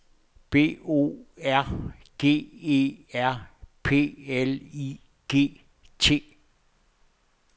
B O R G E R P L I G T